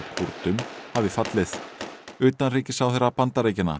Kúrdum hafi fallið utanríkisráðherra Bandaríkjanna